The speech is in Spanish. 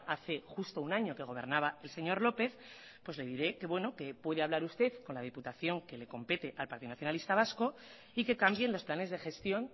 hace justo un año que gobernaba el señor lópez pues le diré que bueno que puede hablar usted con la diputación que le compete al partido nacionalista vasco y que cambien los planes de gestión